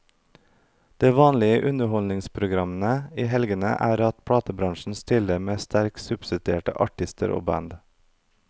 Det vanlige i underholdningsprogrammene i helgene er at platebransjen stiller med sterkt subsidierte artister og band.